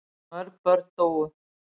Mörg börn dóu.